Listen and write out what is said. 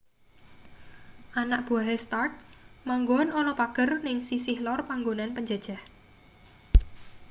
anak buwahe stark manggon ana pager ning sisih lor panggonan penjajah